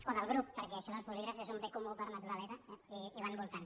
o del grup perquè això dels bolígrafs és un bé comú per naturalesa eh i van voltant